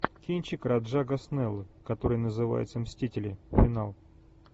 кинчик раджа госнеллы который называется мстители финал